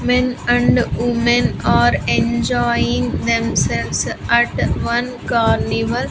men and women are enjoying themselves at one carnival.